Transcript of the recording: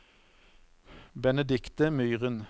Benedikte Myren